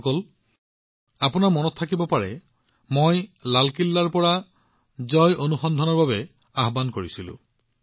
বন্ধুসকল আপোনালোকৰ মনত থাকিব পাৰে মই লালকিল্লাৰ পৰা জয় অনুসন্ধনৰ বাবে মাত মাতিছিলো